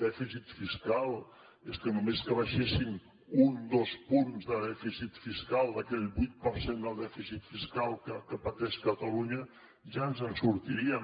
dèficit fiscal és que només que abaixessin un dos punts de dèficit fiscal d’aquell vuit per cent del dèficit fiscal que pateix catalunya ja ens en sortiríem